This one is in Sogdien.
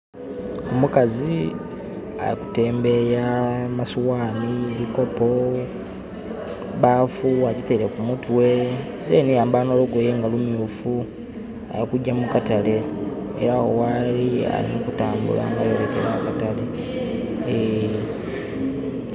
Omukazi ali kutembeya amasoghani, ebikopo, baafu adhitaile ku mutwe, then yayambala olugoye nga lumyufu. Alikugya mu katale era agho ghaali ali kutambula nga ayolekera akatale.